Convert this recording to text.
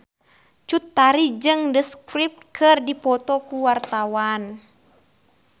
Cut Tari jeung The Script keur dipoto ku wartawan